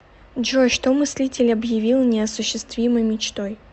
джой что мыслитель обьявил неосуществимой мечтой